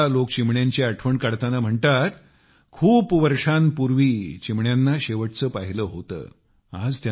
मात्र आता लोक चिमण्यांची आठवण काढताना म्हणतात कि शेवटचे कितीतरी वर्षांपूर्वी चिमण्यांना पाहिले होते